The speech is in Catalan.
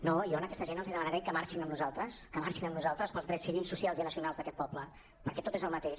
no jo a aquesta gent els demanaré que marxin amb nosaltres que marxin amb nosaltres pels drets civils socials i nacionals d’aquest poble perquè tot és el mateix